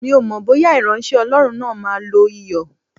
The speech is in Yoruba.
Mi ò mọ̀ bóyá ìránṣẹ́ Ọlọ́run náà máa lo Iyọ̀.